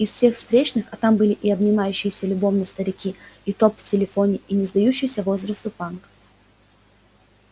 из всех встречных а там были и обнимающиеся любовно старики и поп в телефоне и не сдающийся возрасту панк